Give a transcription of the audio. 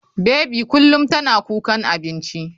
Baby kullum tana kukan abinci.